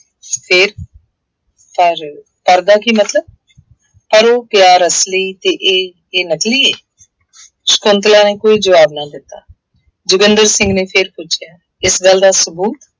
ਫੇਰ ਪਰ, ਕਰਦਾ ਕੀ ਮਤਲਬ, ਪਰ ਉਹ ਪਿਆਰ ਅਸਲੀ ਅਤੇ ਇਹ ਇਹ ਨਕਲੀ ਹੈ। ਸ਼ੰਕੁਤਲਾ ਨੇ ਕੋਈ ਜਵਾਬ ਨਾ ਦਿੱਤਾ। ਜੋਗਿੰਦਰ ਸਿੰਘ ਨੇ ਫੇਰ ਪੁੱਛਿਆ, ਇਸ ਗੱਲ ਦਾ ਸਬੂਤ,